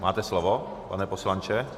Máte slovo, pane poslanče.